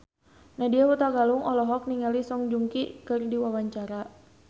Nadya Hutagalung olohok ningali Song Joong Ki keur diwawancara